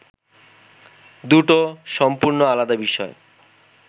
দুটো সম্পূর্ণ আলাদা বিষয়!